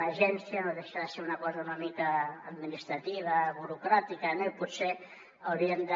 una agència no deixa de ser una cosa una mica administrativa burocràtica no i potser hauríem de